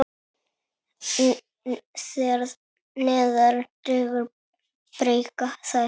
Þegar neðar dregur breikka þær.